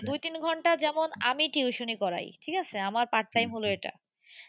দুই তিন ঘন্টা যেমন আমি tuition ই করাই। ঠিক আছে, আমার part time হলো এটা